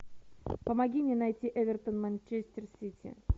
помоги мне найти эвертон манчестер сити